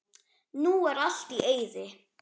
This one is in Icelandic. Nú er allt í eyði.